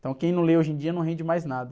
Então quem não lê hoje em dia não rende mais nada.